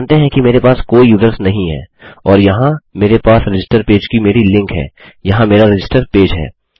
मानते हैं कि मेरे पास कोई यूज़र्स नहीं है और यहाँ मेरे पास रजिस्टर पेज की मेरी लिंक है यहाँ मेरा रजिस्टर पेज है